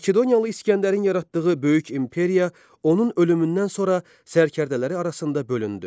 Makedoniyalı İsgəndərin yaratdığı böyük imperiya onun ölümündən sonra sərkərdələri arasında bölündü.